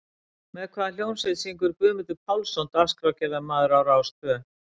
Með hvað hljómsveit syngur Guðmundur Pálsson, dagskrárgerðarmaður á RÁS tvö?